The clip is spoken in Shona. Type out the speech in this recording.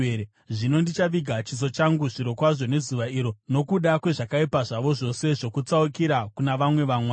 Zvino ndichaviga chiso changu zvirokwazvo nezuva iro nokuda kwezvakaipa zvavo zvose zvokutsaukira kuna vamwe vamwari.